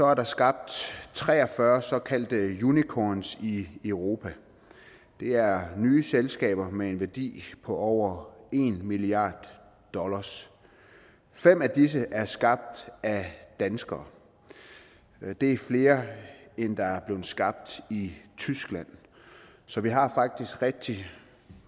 er der skabt tre og fyrre såkaldte unicorns i europa det er nye selskaber med en værdi på over en milliard dollar fem af disse er skabt af danskere det er flere end der er blevet skabt i tyskland så vi har faktisk rigtig